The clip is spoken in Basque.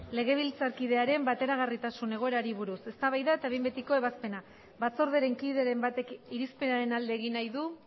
legebiltzarkidearen bateragarritasun egoerari buruz eztabaida eta behin betiko ebazpena batzordearen kideren batek irizpenaren alde egin nahi du